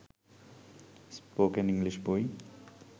spoken English বই